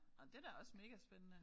Nåh det da også megaspændende